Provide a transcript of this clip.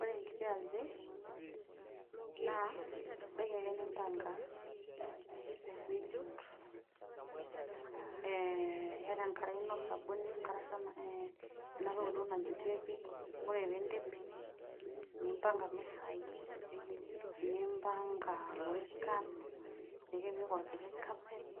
Ore ekiti aji naa ibaiki ake nimpaga, nijut ee iyata enkare ino osabuni, ena toki duo najuteiki, ore pee iidip nimbanga imisai, nimbanga ilorikan, nipik olkiti kapet